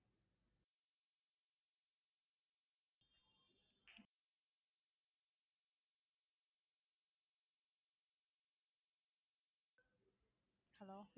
hello